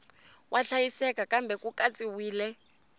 wa hlayeka kambe ku katsiwile